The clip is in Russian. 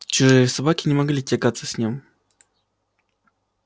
чужие собаки не могли тягаться с ним